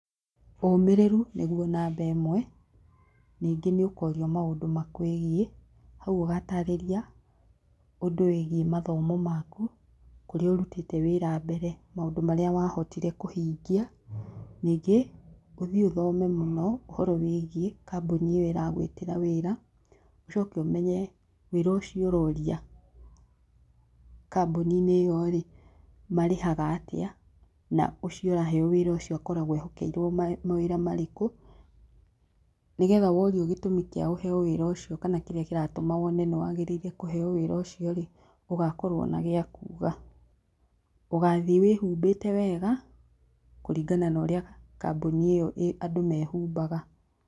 Ũmĩrĩru nĩguo namba ĩmwe, ningĩ nĩũkorio maũndũ makwĩgiĩ, hau ũgatarĩria ũndũ wĩgiĩ mathomo maku, kũrĩa ũrutĩte wĩra mbere, maũndũ marĩa wahotire kũhingia, ningĩ ũthiĩ ũthome mũno ũhoro wĩgiĩ kambuni ĩyo ĩragwĩtĩra wĩra, ũcoke ũmenye wĩra ũcio ũroria kambuni-inĩ iyo rĩ marĩhaga atĩa, na ũcio ũraheo wĩra ũcio akoragwo ehokeirwo mawĩra marĩkũ, nigetha worio gĩtũmi kĩa ũheo wĩra ũcio kana kĩrĩa kĩratuma wone nĩwagĩrĩire kũheo wĩra ũcio rĩ, ũgakorwo na gĩakuga. Ũgathiĩ wĩhumbĩte wega, kũringana na ũrĩa kambuni ĩyo andũ mehumbaga.